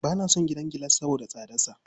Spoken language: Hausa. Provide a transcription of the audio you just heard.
Ba na son gidan gilas saboda tsadarsa.